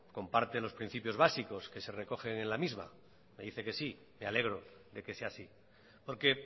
comparte los principios básicos que se recogen en la misma me dice que sí me alegro de que sea así porque